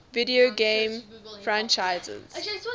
video game franchises